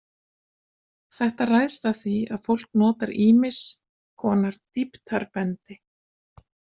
Þetta ræðst af því að fólk notar ýmiss konar dýptarbendi.